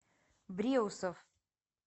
бреусов